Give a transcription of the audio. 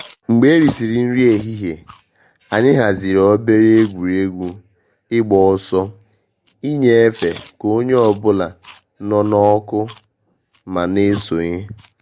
Mgbe eri sịrị nri ehihie, anyị haziri obere egwuregwu ịgba ọsọ ịnyefe ka onye ọ bụla nọ n’ọkụ ma na eso nye.